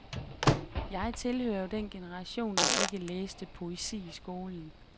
Jeg tilhører jo den generation, der ikke læste poesi i skolen.